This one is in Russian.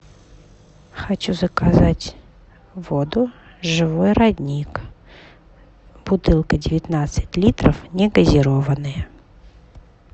хочу заказать воду живой родник бутылка девятнадцать литров негазированная